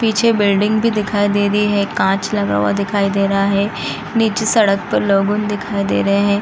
पीछे बिल्डिंग भी दिखाई दे रही है कांच लगा हुआ दिखाई दे रहा है | नीचे सड़क पर लोगे दिखाई दे रहा है ।